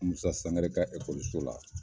Musa Sangare ka ekɔliso la.